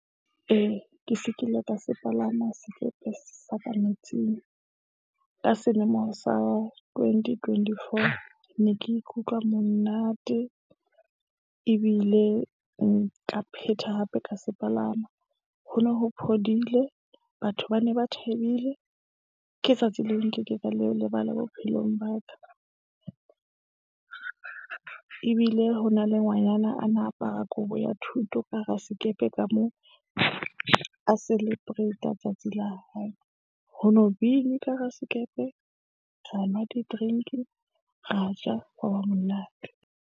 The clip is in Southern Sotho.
Ee, ke se ke ile ka se palama sekepe sa ka metsing. Ka selemo sa 2024 ne ke ikutlwa monate ebile nka phetha hape ka se palama. Ho no ho phodile, batho ba ne ba thabile. Ke tsatsi leo, nkekeng ka le lebala bophelong ba ka. Ebile ho na le ngwanyana a na apara kobo ya thuto ka hara sekepe ka moo. A celebrata tsatsi la hae. Ho no bine ka hara sekepe ra nwa di-drink-i, ra ja hwa ba monate.